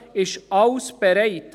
Alles ist bereit.